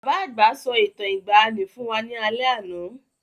Bàbá àgbà sọ Ìtàn ìgbaànì fún wá ní alé àná.